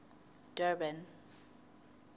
durban